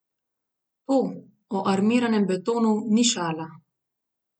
To, o armiranem betonu, ni šala.